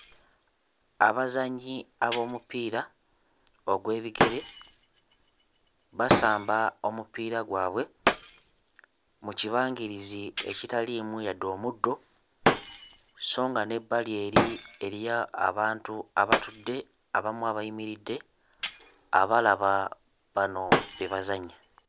Abazannyi ab'omupiira ogw'ebigere basamba omupiira gwabwe mu kibangirizi ekitaliimu yadde omuddo so nga n'ebbali eri eriyo abantu abatudde, abamu abayimiridde abalaba bano bye bazannya.